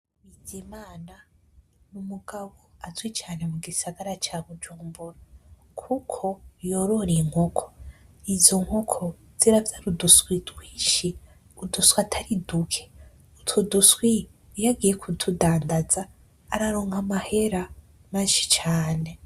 Bizimana ni umugabo azwi cane mu gisagara ca Bujumbura kuko yorora inkoko, izo nkoko ziravyara uduswi twinshi uduswi atari duke, utwo duswi iyagiye kutudandanza araronka amahera menshi cane.